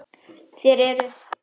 Þér eruð?